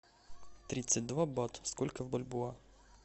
тридцать два бат сколько в бальбоа